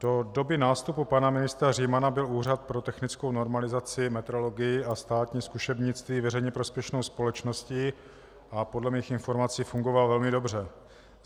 Do doby nástupu pana ministra Římana byl Úřad pro technickou normalizaci, metrologii a státní zkušebnictví veřejně prospěšnou společností a podle mých informací fungoval velmi dobře.